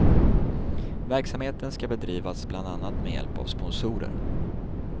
Verksamheten skall bedrivas bland annat med hjälp av sponsorer.